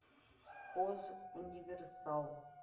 хозуниверсал